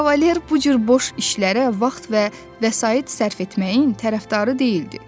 Kavaler bu cür boş işlərə vaxt və vəsait sərf etməyin tərəfdarı deyildi.